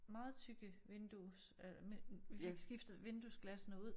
Meget tykke vindues øh vi fik skiftet vinduesglassene ud